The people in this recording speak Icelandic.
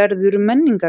verður menningararfleifð?